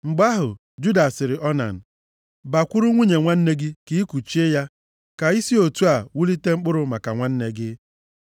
Mgbe ahụ, Juda sịrị Onan, “Bakwuru nwunye nwanne gị ka ịkuchie ya, ka i si otu a wulite mkpụrụ maka nwanne gị.”